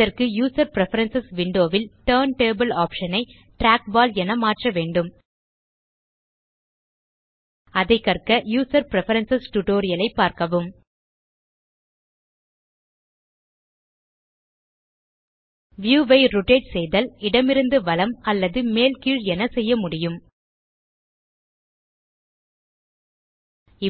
அதற்கு user preference window ல் turn table option ஐ trackballஎன மாற்ற வேண்டும் அதை கற்க யூசர் பிரெஃபரன்ஸ் டியூட்டோரியல் ஐ பார்க்கவும் வியூ ஐ ரோட்டேட் செய்தல் இடமிருந்து வலம் அல்லது மேல் கீழ் என செய்ய முடியும்